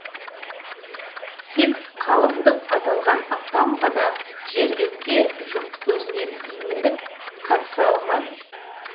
тек қалыңдық аталған апам ғана жерлеуге жұрт көзінен именіп қатыса алмады